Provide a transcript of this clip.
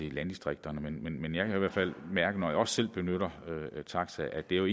i landdistrikterne men jeg kan i hvert fald mærke når jeg også selv benytter taxa at det jo